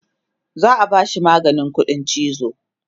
za'a bashi maganin ƙuɗin chizo